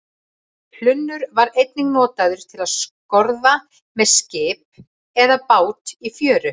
Hlunnur var einnig notaður til að skorða með skip eða bát í fjöru.